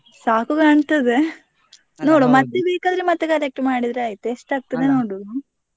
ಸಾಕು ಕಾಣ್ತದೆ ನೋಡುವ ಮತ್ತೆ ಬೇಕಾದ್ರೆ ಮತ್ತೆ collect ಮಾಡಿದ್ರೆ ಆಯ್ತು, ಎಷ್ಟ್ ಆಗ್ತದೆ ನೋಡುದು.